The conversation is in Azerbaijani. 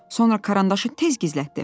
Sonra karandaşı tez gizlətdi.